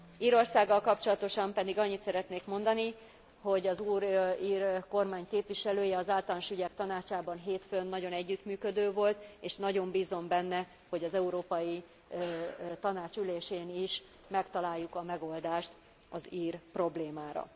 Írországgal kapcsolatosan pedig annyit szeretnék mondani, hogy az új ír kormány képviselője az Általános Ügyek Tanácsában hétfőn nagyon együttműködő volt, és nagyon bízom benne, hogy az Európai Tanács ülésén is megtaláljuk a megoldást az ír problémára.